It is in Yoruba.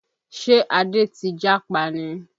Ṣé Adé ti jápa ni?